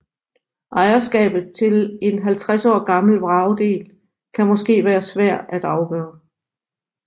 Ejerskabet til en 50 år gammel vragdel kan måske være svært at afgøre